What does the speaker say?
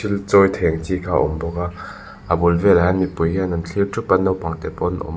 thil chawi thei ang chi kha a awm bawk a a bul vel ah hian mipui hian an thlir thup a naupang te pawh an awm.